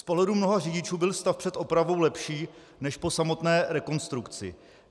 Z pohledu mnoha řidičů byl stav před opravou lepší než po samotné rekonstrukci.